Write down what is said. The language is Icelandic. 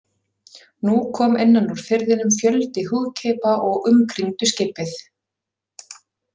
Nú kom innan úr firðinum fjöldi húðkeipa og umkringdu skipið.